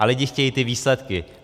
A lidi chtějí ty výsledky.